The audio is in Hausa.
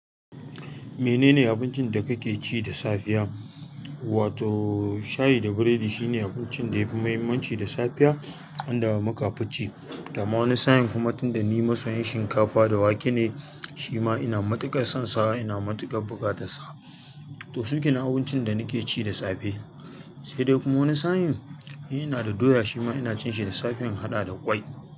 Menene abincin da kake ci da safiya? Wato shayi da biredi shine abincin da yafi muhimmanci da safiya, an da muka fi ci. To amma wani sa'in kuma tunda ni masoyin shinkafa da wake ne, shima ina matuƙar son sa, ina matuƙar buka ta sa. To su kine abincin da nake ci da safe. Sai dai kuma wani sa'in, ina da doya shima ina cin shi da safen in haɗa da ƙwai.